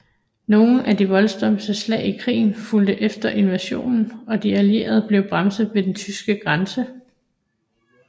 Nogle af de voldsomste slag i krigen fulgte efter invasionen og de allierede blev bremset ved den tyske grænse